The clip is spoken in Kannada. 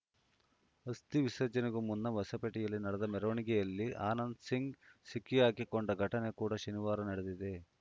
ಅಸ್ಥಿ ವಿಸರ್ಜನೆಗೂ ಮುನ್ನ ಹೊಸಪೇಟೆಯಲ್ಲಿ ನಡೆದ ಮೆರವಣಿಗೆಯಲ್ಲಿ ಆನಂದ್‌ ಸಿಂಗ್‌ ಸಿಕ್ಕಿಹಾಕಿಕೊಂಡ ಘಟನೆ ಕೂಡ ಶನಿವಾರ ನಡೆದಿದೆ